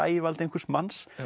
ægivaldi einhvers manns